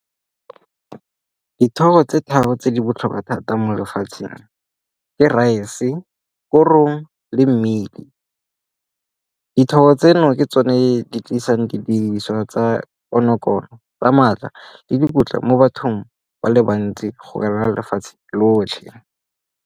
Dithoro tse tharo tse di botlhokwa thata mo lefatsheng ke rice-e, korong le mmidi. Dithoro tseno ke tsone di tlisang didiriswa tsa konokono, tsa maatla le dikotla mo bathong ba le bantsi go ka nna lefatshe lotlhe.